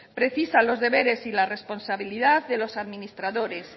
precisa los deberes y la responsabilidad de los administradores